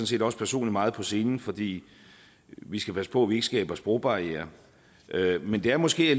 set også personligt meget på sinde for vi vi skal passe på at vi ikke skaber sprogbarrierer men det er måske